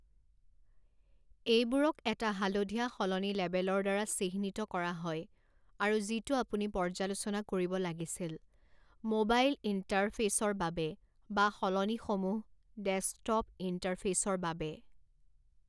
এইবোৰক এটা হালধীয়া সলনি লেবেলৰ দ্বাৰা চিহ্নিত কৰা হয় আৰু যিটো আপুনি পৰ্য্যালোচনা কৰিব লাগিছিল) (ম'বাইল ইণ্টাৰফেইচৰ বাবে) বা সলনিসমূহ (ডেস্কটপ ইণ্টাৰফেইচৰ বাবে)।